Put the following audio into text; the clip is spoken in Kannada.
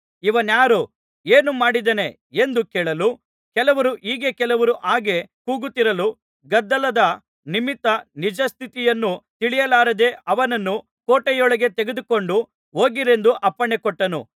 ಇವನಾರು ಏನು ಮಾಡಿದ್ದಾನೆ ಎಂದು ಕೇಳಲು ಕೆಲವರು ಹೀಗೆ ಕೆಲವರು ಹಾಗೆ ಕೂಗುತ್ತಿರಲು ಗದ್ದಲದ ನಿಮಿತ್ತ ನಿಜ ಸ್ಥಿತಿಯನ್ನು ತಿಳಿಯಲಾರದೆ ಅವನನ್ನು ಕೋಟೆಯೊಳಗೆ ತೆಗೆದುಕೊಂಡು ಹೋಗಿರೆಂದು ಅಪ್ಪಣೆಕೊಟ್ಟನು